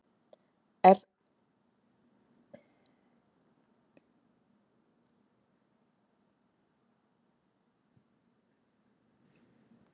Eru það skilaboð löggjafans að þetta sé nú bara eins og hver önnur neysluvara?